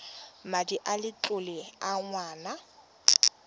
madi a letlole a ngwana